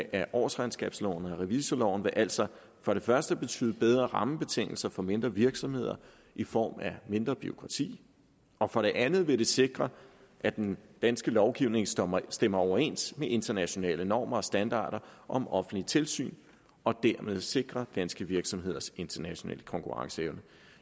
af årsregnskabsloven og revisorloven vil altså for det første betyde bedre rammebetingelser for mindre virksomheder i form af mindre bureaukrati og for det andet vil det sikre at den danske lovgivning stemmer stemmer overens med internationale normer og standarder om offentligt tilsyn og dermed sikre danske virksomheders internationale konkurrenceevne